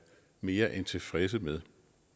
mere end tilfredse med